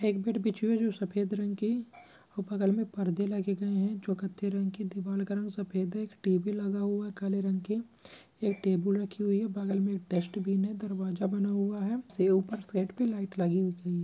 सफेद रंग की और बगल में परदे लगे गए जो कथे रंग के दिवार का कलर सफेद है एक टेबल लगा हुआ काले रंग के एक टेबल रखी हुई है बगल में एक डस्ट्बिन है दरवाजा बना हुआ है से ऊपर छत पर लाइट--